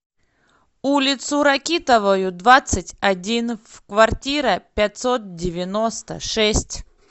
улицу ракитовую двадцать один в квартира пятьсот девяносто шесть